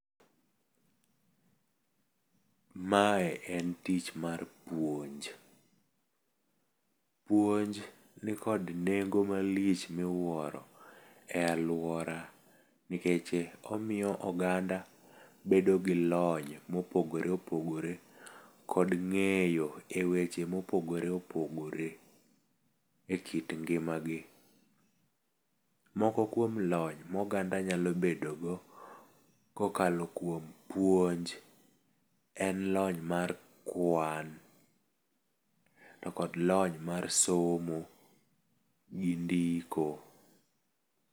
Mae en tich mar puonj. Puonj nikod nengo malich miwuoro e alwora, nikech omiyo oganda bedo gi lony mopogore opogore kod ng'eyo e weche mopogore opogore e kit ngima gi. Moko kuom lony ma oganda nyalo bedo go kokalo kuom puonj en lony mar kwan, to kod lony mar somo gi ndiko.